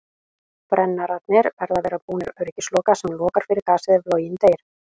Brennararnir verða að vera búnir öryggisloka sem lokar fyrir gasið ef loginn deyr.